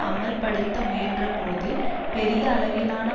அமல்படுத்த முயன்றபோது பெரிய அளவிலான